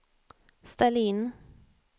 ställ in